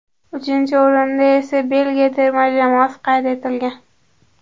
Uchinchi o‘rinda esa Belgiya terma jamoasi qayd etilgan.